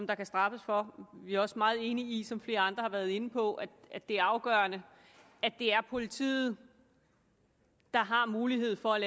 der kan straffes for og vi er også meget enige i som flere andre har været inde på at det er afgørende at det er politiet der har mulighed for at